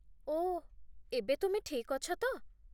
ଓଃ, ଏବେ ତୁମେ ଠିକ୍ ଅଛ ତ?